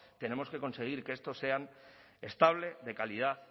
tenemos que conseguir que estos sean estables de calidad